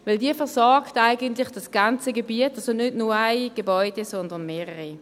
Denn sie versorgt das ganze Gebiet, also nicht nur ein Gebäude, sondern mehrere.